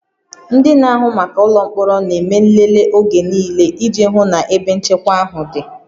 Ndị na-ahụ maka ụlọ mkpọrọ na-eme nlele oge niile iji hụ na ebe nchekwa ahụ dị